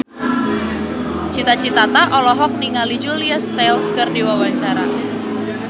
Cita Citata olohok ningali Julia Stiles keur diwawancara